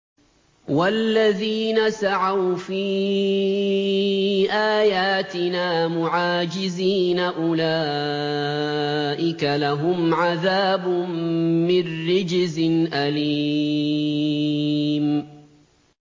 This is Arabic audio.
وَالَّذِينَ سَعَوْا فِي آيَاتِنَا مُعَاجِزِينَ أُولَٰئِكَ لَهُمْ عَذَابٌ مِّن رِّجْزٍ أَلِيمٌ